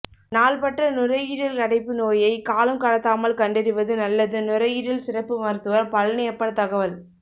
நாள்பட்ட நுரையீரல் அடைப்பு நோயை காலம் கடத்தாமல் கண்டறிவது நல்லது நுரையீரல் சிறப்பு மருத்துவர் பழனியப்பன் தகவல்